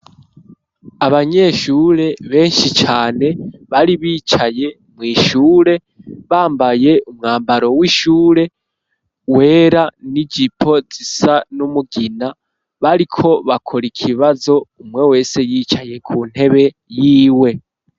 Abanyeshure benshi cane bari bicaye mw'ishure bambaye umwambaro w'ishure wera n'ijipo zisa n'umugina, bariko bakora ikibazo umwe wese yicaye ku ntebe yiwe.